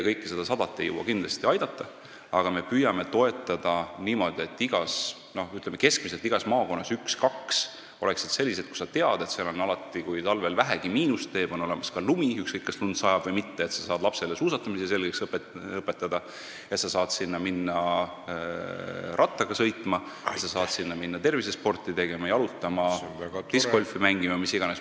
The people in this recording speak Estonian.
Kõiki neid ei jõua me kindlasti aidata, aga me püüame toetada niimoodi, et keskmiselt oleks igas maakonnas üks-kaks sellist, kus on alati, kui talvel vähegi miinust teeb, olemas lumi, ükskõik, kas lund siis sajab või mitte, et sa saad lapsele suusatamise selgeks õpetada, sa saad minna sinna rattaga sõitma ja tervisesporti tegema, jalutama, discgolfi mängima või mis iganes muid võimalusi on seal perekondlikult aega veeta.